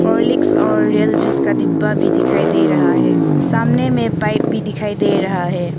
Horlicks और real juice का डिब्बा भी दिखाई दे रहा है सामने में पाइप भी दिखाई दे रहा है।